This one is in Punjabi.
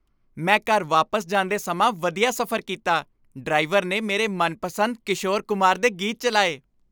ਮੈਂ ਘਰ ਵਾਪਸ ਜਾਂਦੇ ਸਮਾਂ ਵਧੀਆ ਸਫ਼ਰ ਕੀਤਾ। ਡਰਾਈਵਰ ਨੇ ਮੇਰੇ ਮਨਪਸੰਦ ਕਿਸ਼ੋਰ ਕੁਮਾਰ ਦੇ ਗੀਤ ਚਲਾਏ।